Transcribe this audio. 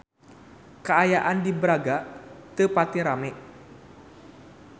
Kaayaan di Braga teu pati rame